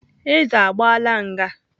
Eze agbaala nga.